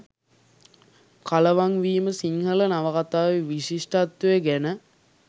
කලවං වීම සිංහල නවකතාවේ විශිෂ්ටත්වය ගැන